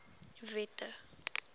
wette